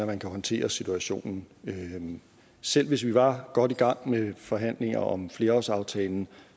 man kan håndtere situationen selv hvis vi var godt i gang med forhandlinger om flerårsaftalen